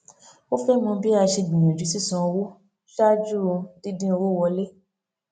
ó fẹ mọ bí a ṣe gbìyànjú sísan owó ṣáájú dídín owó wọlé